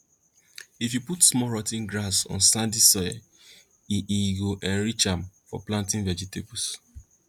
if you put small rot ten grass on sandy soil e e go enrich am for planting vegetables